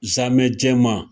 Zamɛ jɛman